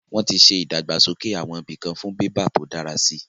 Wọ́n ti ṣe ìdàgbàsókè àwọn ibìkan fún bébà tó dára si